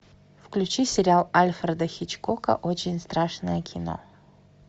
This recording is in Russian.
включи сериал альфреда хичкока очень страшное кино